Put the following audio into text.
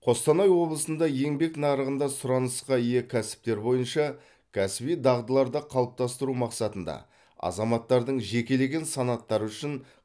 қостанай облысында еңбек нарығында сұранысқа ие кәсіптер бойынша кәсіби дағдыларды қалыптастыру мақсатында азаматтардың жекелеген санаттары үшін